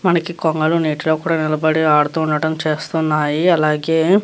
మనకు కొంగలు నీటిలో కూడా నిలబడి ఆడుతూ ఉనట్టు చేస్తున్నాయి అలాగే --